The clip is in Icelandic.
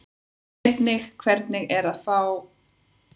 Einnig hvernig er að vera frá svona litlum bæ og komast svona langt?